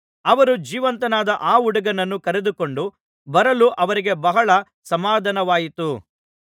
ಅವರು ಜೀವಿತನಾದ ಆ ಹುಡುಗನನ್ನು ಕರೆದುಕೊಂಡು ಬರಲು ಅವರಿಗೆ ಬಹಳ ಸಮಾಧಾನವಾಯಿತು